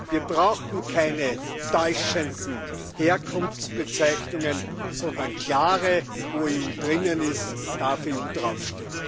Wir brauchen keine täuschenden Herkunftsbezeichnungen, sondern klare Wo EU drinnen ist, darf EU draufstehen.